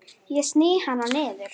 Hann hugsaði um Elísu.